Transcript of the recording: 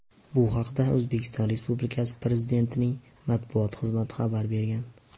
Bu haqda O‘zbekiston Respublikasi Prezidentining matbuot xizmati xabar bergan .